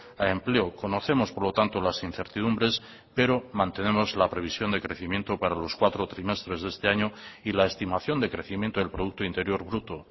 a empleo conocemos por lo tanto las incertidumbres pero mantenemos la previsión de crecimiento para los cuatro trimestres de este año y la estimación de crecimiento del producto interior bruto